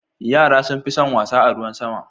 Yara sun fi son wasa a ruwan sama.